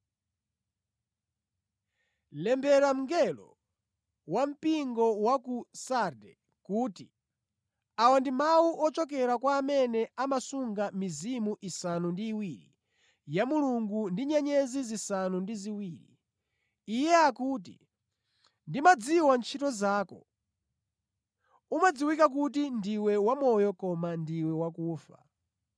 “Lembera mngelo wampingo wa ku Sarde kuti: Awa ndi mawu ochokera kwa amene amasunga mizimu isanu ndi iwiri ya Mulungu ndi nyenyezi zisanu ndi ziwiri. Iye akuti: Ndimadziwa ntchito zako; umadziwika kuti ndiwe wamoyo koma ndiwe wakufa.